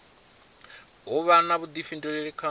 u vha na vhuḓifhinduleli kha